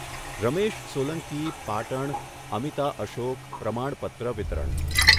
રમેશ સોલંકી પાટણ અમિતા અશોક પ્રમાણપત્ર વિતરણ